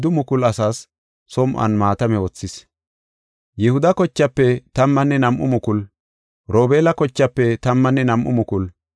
Yihuda kochaafe tammanne nam7u mukulu, Robeela kochaafe tammanne nam7u mukulu, Gaade kochaafe tammanne nam7u mukulu,